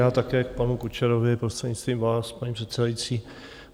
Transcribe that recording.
Já také k panu Kučerovi, prostřednictvím vás, paní předsedající.